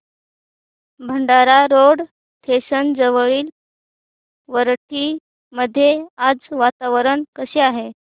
Bhandara road station जवळील वरठी मध्ये आज वातावरण कसे आहे